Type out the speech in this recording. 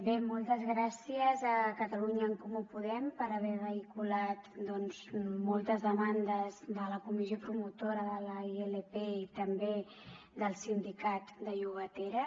bé moltes gràcies a catalunya en comú podem per haver vehiculat doncs moltes demandes de la comissió promotora de la ilp i també del sindicat de llogateres